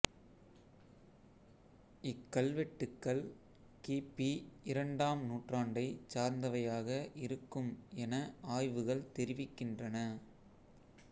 இக்கல்வெட்டுக்கள் கி பி இரண்டாம் நூற்றாண்டைச் சார்ந்தவையாக இருக்கும் என ஆய்வுகள் தெரிவிக்கின்றன